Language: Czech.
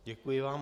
Děkuji vám.